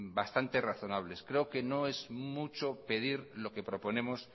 bastante razonable creo que no es mucho pedir lo que proponemos